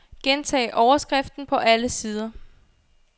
Gentag overskriften på alle sider.